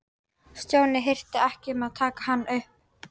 Stjáni hirti ekki um að taka hann upp.